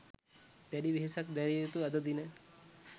දැඩි වෙහෙසක් දැරිය යුතු අද දින